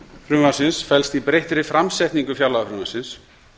frumvarpsins felst í breyttri framsetningu fjárlagafrumvarpsins